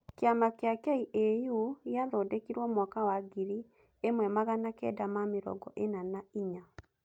Kĩama kĩa KAU gĩathondekirwo mwaka wa ngiri ĩmwe magana kenda ma mĩrongo ĩna na inya.